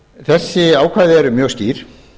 þessi ákvæði eru mjög skýr